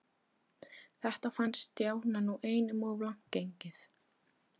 Þetta fannst Stjána nú einum of langt gengið.